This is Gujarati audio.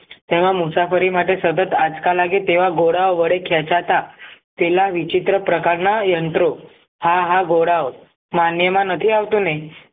તેના મુસાફરી માટે સતત આંચકા તેવા ઘોડા વડે ખેંચાતા તેના વિચિત્ર પ્રકારના યંત્રો હા હા ગોરાઓ માન્યમાં નથી આવતું ને